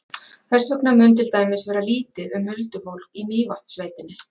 Þess vegna mun til dæmis vera lítið um huldufólk í Mývatnssveitinni.